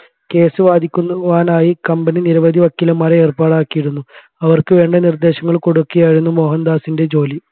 case വാദിക്കുവാനായി company നിരവധി വക്കീലന്മാരെ ഏർപ്പാടാക്കിയിരുന്നു അവർക്ക് വേണ്ട നിർദ്ദേശങ്ങൾ കൊടുക്കുകയായിരുന്നു മോഹൻദാസിൻെറ ജോലി